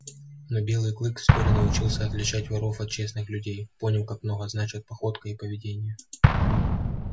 но белый клык вскоре научился отличать воров от честных людей понял как много значат походка и поведение